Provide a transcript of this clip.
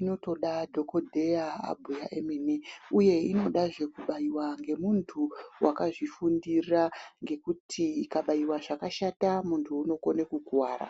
inotoda dhokodheya abhuya omene uye inodazve kubaiwa ngemunhu wakazvifundira ngekuti ikabaiwa zvakashata mundu unokone kukuwara.